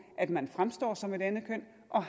at man fremstår som et andet køn og